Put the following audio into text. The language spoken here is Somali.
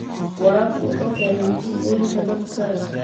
Waraabku wuxuu keenaa masiibooyinka daadka.